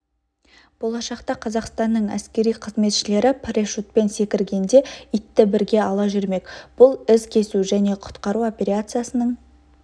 болашақта қазақстанның әскери қызметшілері парашютпен секіргенде итті бірге ала жүрмек бұл із кесу және құтқару операциясының